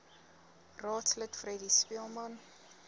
raadslid freddie speelman